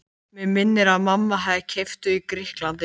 Mig minnir að mamma hafi keypt þau í Grikklandi.